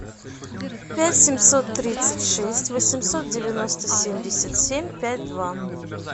пять семьсот тридцать шесть восемьсот девяносто семьдесят семь пять два